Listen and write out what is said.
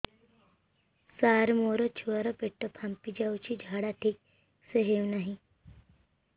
ସାର ମୋ ଛୁଆ ର ପେଟ ଫାମ୍ପି ଯାଉଛି ଝାଡା ଠିକ ସେ ହେଉନାହିଁ